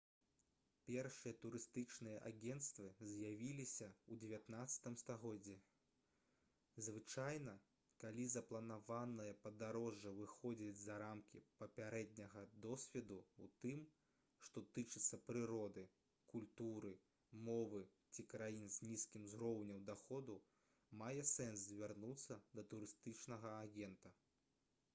першыя турыстычныя агенцтвы з'явіліся ў 19 стагоддзі звычайна калі запланаванае падарожжа выходзіць за рамкі папярэдняга досведу ў тым што тычыцца прыроды культуры мовы ці краін з нізкім узроўнем даходу мае сэнс звярнуцца да турыстычнага агента